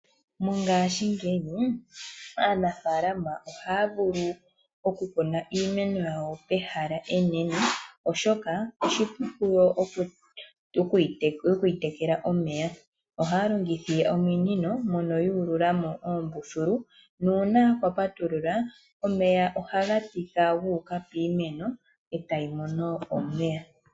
Mongashingeyi aanafaalama ohaya vulu oku kuna iimeno yawo mehala enene oshoka otovulu okuyi tekela omeya. Ohaya longitha ominino moka yuululamo uumbululu nuuna yapatulula omeya ohaga tika guuka piimeno etayi mono omeya.